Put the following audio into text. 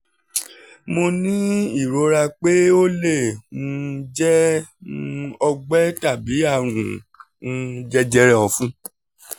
mo ní ìrora pé ó lè um jẹ́ um um ọgbẹ́ tàbí àrùn um jẹjẹrẹ ọ̀fun